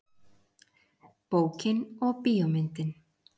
Bókin og bíómyndin.